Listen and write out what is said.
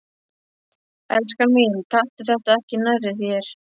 Elskan mín, taktu þetta ekki nærri þér.